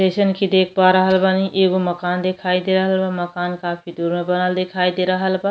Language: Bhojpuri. जइसन की देख पा रहल बानी। एगो मकान दिखाई दे रहल बा। मकान काफी दूर में बनल दिखाई दे रहल बा।